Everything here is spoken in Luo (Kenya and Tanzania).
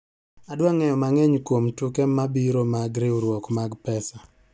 Adwa ng'eyo mang'eny kuom tuke mabiro mag riwruok mag pesa